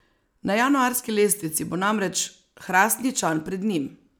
Na januarski lestvici bo namreč Hrastničan pred njim.